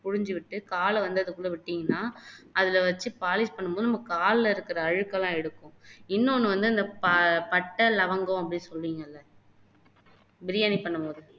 புளிஞ்சு விட்டு கால்ல வந்து அதுக்குள்ள விட்டீங்கன்னா அதுல வச்சு POLISH பண்ணும் போது நம்ம காலுல இருக்க அழுக்கெல்லாம் எடுக்கும் இன்னொண்ணு வந்து அந்த ப பட்டை லவங்கம் அப்படின்னு சொல்லுவீங்கல்ல பிரியாணி பண்ணுவோமுல்ல